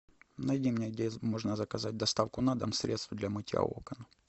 найди мне где можно заказать доставку на дом средств для мытья окон